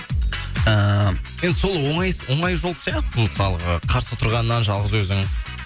ыыы енді сол оңай жол сияқты мысалға қарсы тұрғаннан жалғыз өзің